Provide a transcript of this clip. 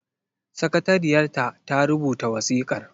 Sakatariyar ta ta rubuta wasikar.